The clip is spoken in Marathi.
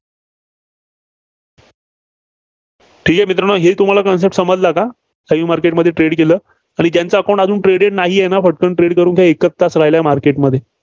ठीक आहे, मित्रांनो ही तुम्हाला Concept समजला का? live market मध्ये trade केलं, आणि त्यांचं account अजून traded नाहीये पटकन trade करून घ्या एकच तास राहिला आहे market मध्ये